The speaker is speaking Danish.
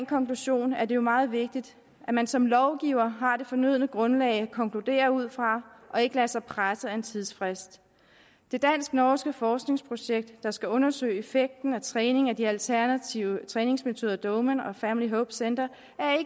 konklusion er det jo meget vigtigt at man som lovgivere har det fornødne grundlag at konkludere ud fra og ikke lader sig presse af en tidsfrist det dansk norske forskningsprojekt der skal undersøge effekten af træning med de alternative træningsmetoder doman og family hope center